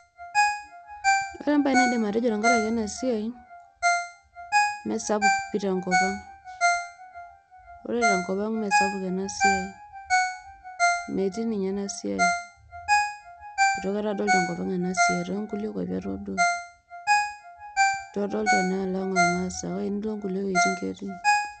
ore embae naidim atejo tenkaraki ena siai mme sapuk pi tenkop ang. ore tenkop ang mmee sapuk ena siai .metii ninye ena siai .itu aikata adol tenkop ang ena siai .toonkulie kwapi atodolie kake tenilo nkulie kwapi ketii.